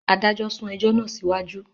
Adájọ sún ẹjọ náà siwaju